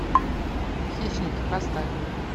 хищники поставь